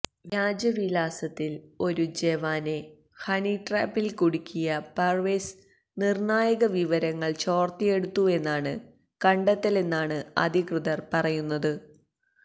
വ്യാജ വിലാസത്തില് ഒരു ജവാനെ ഹണിട്രാപ്പില് കുടുക്കിയ പര്വേസ് നിര്ണായക വിവരങ്ങള് ചോര്ത്തിയെടുത്തുവെന്നാണ് കണ്ടെത്തലെന്നാണ് അധികൃതർ പറയുന്നത്